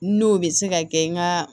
N'o bɛ se ka kɛ n ka